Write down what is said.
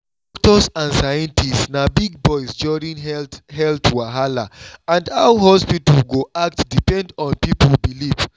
doctors and scientists na big voice during health health wahala and how hospital go act depend on people belief.